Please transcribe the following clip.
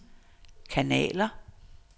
kanaler